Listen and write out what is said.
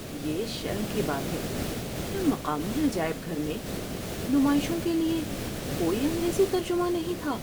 یہ شرم کی بات ہے کہ مقامی عجائب گھر میں نمائشوں کے لیے کوئی انگریزی ترجمہ نہیں تھا۔